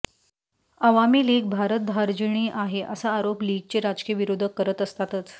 अवामी लीग भारतधार्जिणी आहे असा आरोप लीगचे राजकीय विरोधक करत असतातच